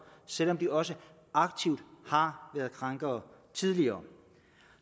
selv om de også aktivt har været krænkere tidligere